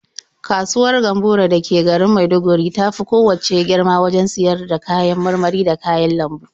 Kasuwar Gamburo da ke garin Maiduguri ta fi kowacce girma wajen siyar da kayan marmari da kayan lambu.